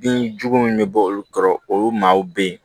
Binjugu min bɛ bɔ olu kɔrɔ olu maaw be yen